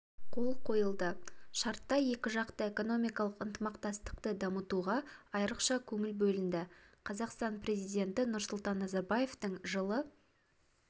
қол қойылды шартта екіжақты экономикалық ынтымақтастықты дамытуға айрықша көңіл бөлінді қазақстан президенті нұрсұлтан назарбаевтың жылы